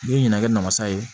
N'i ye ɲinɛ kɛ namasa ye